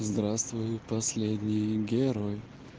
здравствуй последний герой